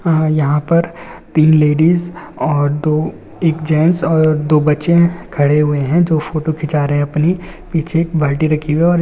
आ यहाँ पर तीन लेडीज और दो एक जेंट्स और दो बच्चे है। खड़े हुए है। जो फोटो खींचा रहे है। अपनी पीछे एक बाल्टी रखी और--